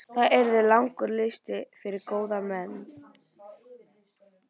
Það yrði langur listi yfir góða menn.